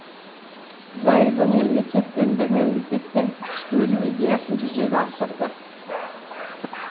зайырлы мемлекет дінді мемлекеттен бөлу идеясын жүзеге асырды